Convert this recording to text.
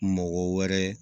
Mɔgɔ wɛrɛ